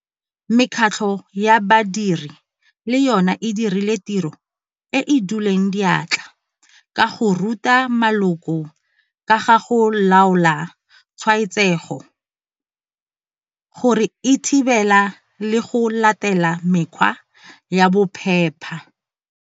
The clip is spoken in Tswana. Mekgatlho ya badiri le yone e dirile tiro e e duleng diatla ka go ruta maloko ka ga go laola tshwaetsego, go e thibela le go latela mekgwa ya bophepa.